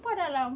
lá.